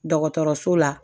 Dɔgɔtɔrɔso la